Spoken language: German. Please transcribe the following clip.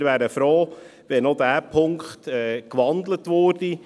Wir wären froh, wenn auch dieser Punkt gewandelt würde.